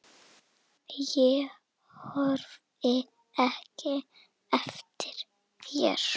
Ég horfi ekki eftir þér.